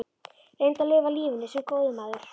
Reyndu að lifa lífinu- sem góður maður.